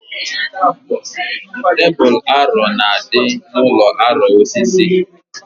Tebul ọrọ na-adị n'ụlọ ọrụ osisi